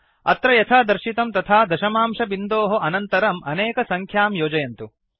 अत्र यथा दर्शितं तथा दशमांशबिन्दोः अनन्तरम् अनेकसङ्ख्यां योजयन्तु